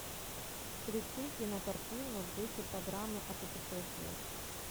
включи кинокартину в духе программы о путешествиях